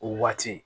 O waati